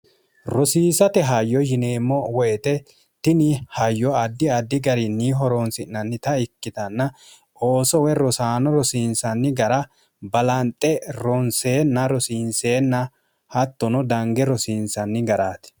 rosiisate hayyo yineemmo woyite tini hayyo addi addi garinni horoonsi'nannita ikkitanna oosowe rosaano rosiinsanni gara balanxe ronseenna rosiinseenna hattono dange rosiinsanni garaati